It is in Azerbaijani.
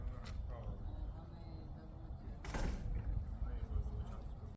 Mən düzəldə bilmərəm.